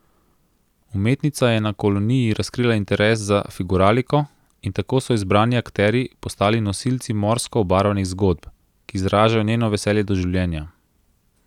Umetnica je na koloniji razkrila interes za figuraliko in tako so izbrani akterji postali nosilci morsko obarvanih zgodb, ki izražajo njeno veselje do življenja.